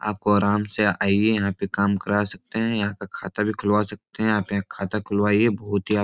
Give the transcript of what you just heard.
आपको आराम से आइये यहाँ पे काम करा सकते हैं यहाँ पे खाता भी खुलवा सकते हैं आप यहाँ खाता खुलवाइए बहुत ही आप --